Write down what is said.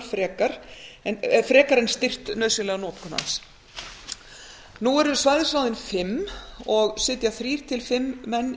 frekar en styrkt nauðsynlega notkun hans nú eru svæðisráðin fimm og sitja þrír til fimm menn í